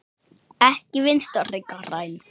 Ekki Vinstri græn.